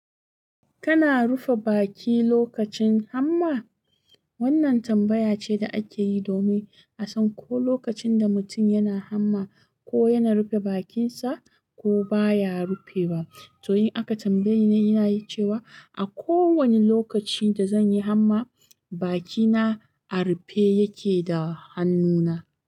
Kana rufe baki lokacin hamma? Wannan tambaya ce da akeyi domin a san ko lokacin da mutum yana hamma, ko yana rufe bakin sa ko baya rufe wa. To in aka tambaye ni, inayi cewa a kowa ne lokaci da zanyi hamma, baki na a rufe yake da hannuna.